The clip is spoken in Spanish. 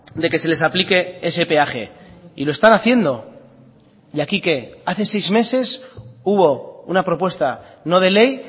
de que se les aplique ese peaje y lo están haciendo y aquí qué hace seis meses hubo una propuesta no de ley